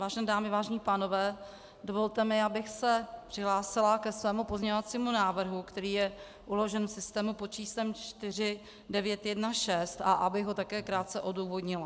Vážené dámy, vážení pánové, dovolte mi, abych se přihlásila ke svému pozměňovacímu návrhu, který je uložen v systému pod číslem 4916, a abych ho také krátce odůvodnila.